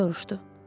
Soruşdu.